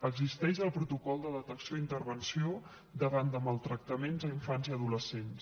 existeix el protocol de detecció i intervenció davant de maltractaments a infants i adolescents